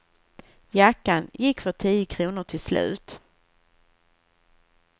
Jackan gick för tio kronor till slut.